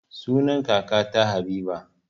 Sunan kakata habiba